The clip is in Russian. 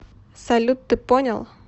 салют ты понял